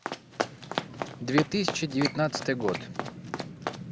две тысячи девятнадцатый год